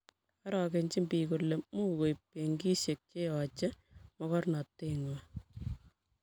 orokenjini biik kole mukuib benkisiek che yochei mokornateng'wang'